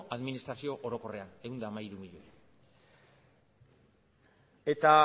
administrazio orokorrean ehun eta hamairu milioi eta